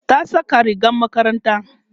ta Saka rigar makaranta